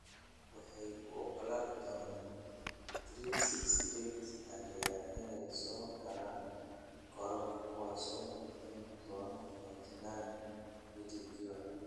waxay u ogolaan doonaan 368 taageere inay soo galaan garoonka kuwaas oo bixin doona £49 midkiiba.